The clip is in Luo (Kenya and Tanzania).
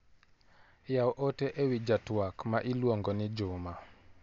Yaw ote ewi ja twak ma iluong'o ni Juma.